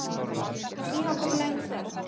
Síðan kom löng þögn.